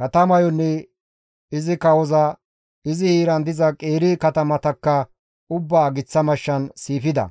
Katamayonne izi kawoza, izi heeran diza qeeri katamatakka ubbaa giththa mashshan siifida;